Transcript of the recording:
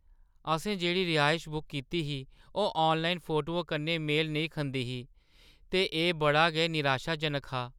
असें जेह्ड़ी रिहायश बुक कीती ही ओह् आनलाइन फोटुएं कन्नै मेल नेईं खंदी ही, ते एह् बड़ा गै निराशाजनक हा।